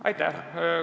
Aitäh!